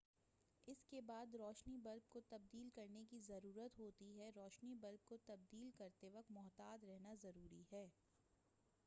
اس کے بعد روشنی بلب کو تبدیل کرنے کی ضرورت ہوتی ہے روشنی بلب کو تبدیل کرتے وقت محتاط رہنا ضروری ہے